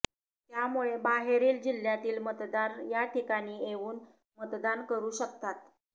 त्यामुळे बाहेरील जिल्ह्यातील मतदार याठिकाणी येऊन मतदान करू शकतात